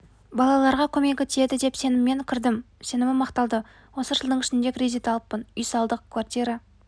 балаларға көмегі тиеді деп сеніммен кірдім сенімім ақталды осы жылдың ішінде кредит алыппын үй салдық квартира